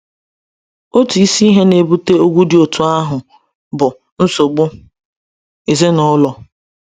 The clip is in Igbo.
Otu isi ihe na-ebute ogwu dị otú ahụ bụ nsogbu ezinụlọ.